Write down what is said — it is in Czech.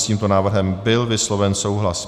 S tímto návrhem byl vysloven souhlas.